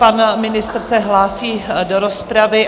Pan ministr se hlásí do rozpravy.